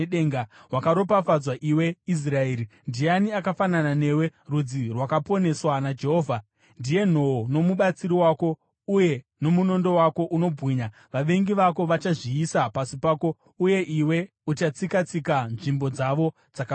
Wakaropafadzwa, iwe Israeri! Ndiani akafanana newe, rudzi rwakaponeswa naJehovha? Ndiye nhoo nomubatsiri wako uye nomunondo wako unobwinya. Vavengi vako vachazviisa pasi pako, uye iwe uchatsika-tsika nzvimbo dzavo dzakakwirira.”